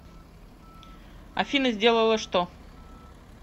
афина сделала что